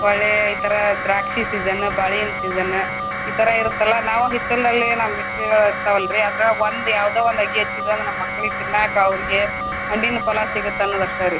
ಒಳ್ಳೆ ಈತರಾ ದ್ರಾಕ್ಷಿ season , ಬಾಳೆ ಹಣ್ಣಿನ್ season ಈತರ ಇರುತ್ತಲ್ಲ ನಾವ ಹಿತ್ತಲ್ದಲ್ಲೆ ನಮ್ಮ ಹಿತ್ತಲ್ಲ್ ಇರ್ತವಲ್ರಿ ಅದ್ರಾಗ್ ಒಂದ್ ಯಾವ್ದೊ ಒಂದ ಅಗಿ ಹಚ್ಚಿದು ಅಂದ್ರ ನಮ್ಮ ಮಕ್ಳಿಗ ತಿನ್ನಾಕ ಅವ್ರಿಗೆ ಹಣ್ಣಿನ ಫಲಾ ಸಿಗುತ್ತ ಅನ್ನೋದ ಅಷ್ಟೆ ರೀ.